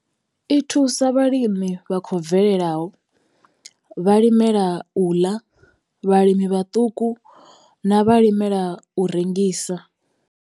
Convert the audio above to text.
I thusa vhalimi vha khou bvelelaho, vhalimela u ḽa, vhalimi vhaṱuku na vhalimela u rengisa.